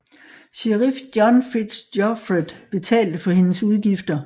Sheriff John Fitz Geoffret betalte for hendes udgifter